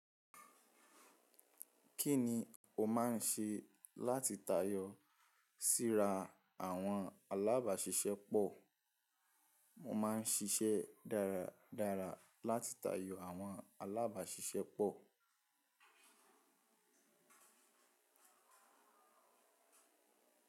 Kí ni o máa ń ṣe láti tayọ síra àwọn alábàáṣiṣẹ́ pọ̀? Mo máa ń ṣiṣẹ́ dáradára láti tayọ àwọn alábàáṣiṣẹ́ pọ̀.